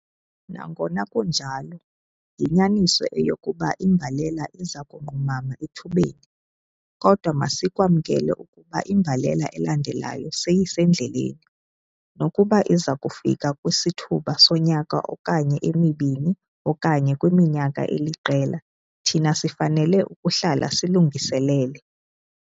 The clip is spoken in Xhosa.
Nangona kunjalo, yinyaniso eyokuba imbalela iza kunqumama ethubeni, kodwa masikwamkele ukuba imbalela elandelayo seyisendleleni. Nokuba iza kufika kwisithuba sonyaka okanye emibini okanye kwiminyaka eliqela thina sifanele ukuhlala silungiselele.